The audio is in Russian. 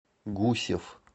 гусев